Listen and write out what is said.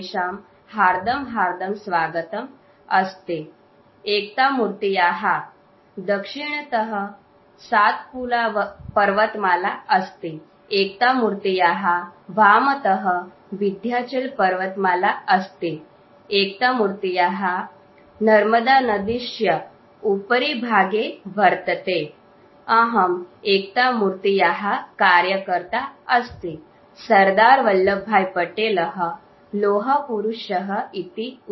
SOUND CLIP STATUE OF UNITY